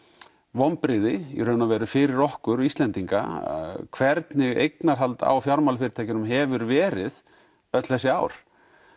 vonbrigði í raun og veru fyrir okkur Íslendinga hvernig eignahald á fjármálafyrirtækjunum hefur verið öll þessi ár